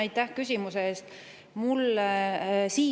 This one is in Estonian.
Aitäh küsimuse eest!